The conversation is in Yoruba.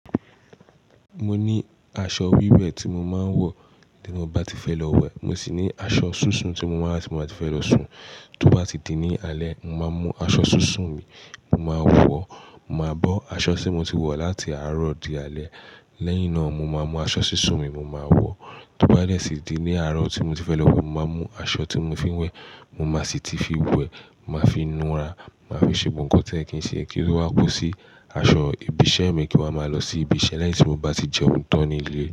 Mo ní aṣọ wíwẹ̀ tí mo máa ń wọ̀ tí mo bá ti fẹ́ lọ wẹ̀. Mo sì ní aṣọ sísun tí mo máa ti ba ti fẹ́ lọ sun. Tó bá ti di ní alẹ́, mo máa mú aṣọ sísun mi, mo máa wọ̀, mo máa bọ́ aṣọ tí mo ti wọ̀ láti àárọ̀ di alẹ́. Lẹ́yìn náà mo máa mú aṣọ sísun mi, mo máa wọ̀. Tó bá dẹ́ sì di ní àárọ̀ tí mo ti fẹ́ lọ wẹ̀, mo máa mú aṣọ tí mo fi ń wẹ̀, mo máa sì ti fi wẹ̀, màá fi nu ara, màá fi ṣe gbogbo nǹkan tí oye kì í ṣe kí ló wá ku sí aṣọ ibi iṣẹ́ mi kí wa ma lọ sí ibi iṣẹ́ lẹ́yìn tí mo bá ti jẹun tán ní ilé.